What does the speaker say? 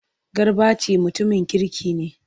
Garbati mutumin kirki ne.